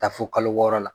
Taa fo kalo wɔɔrɔ la